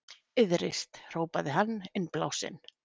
Iðrist, hrópaði hann innblásinn.